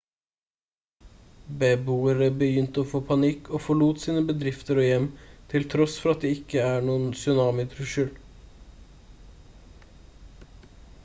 beboere begynte å få panikk og forlot sine bedrifter og hjem til tross for at det ikke er noen tsunami-trussel